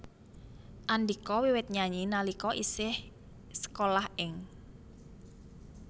Andhika wiwit nyanyi nalika isih sekolah ing